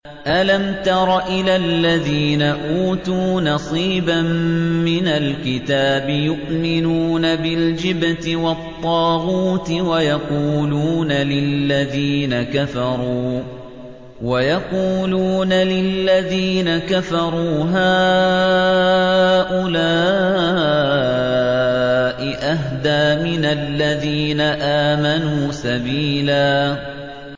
أَلَمْ تَرَ إِلَى الَّذِينَ أُوتُوا نَصِيبًا مِّنَ الْكِتَابِ يُؤْمِنُونَ بِالْجِبْتِ وَالطَّاغُوتِ وَيَقُولُونَ لِلَّذِينَ كَفَرُوا هَٰؤُلَاءِ أَهْدَىٰ مِنَ الَّذِينَ آمَنُوا سَبِيلًا